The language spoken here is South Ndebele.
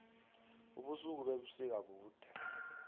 ubusuku bebusika bude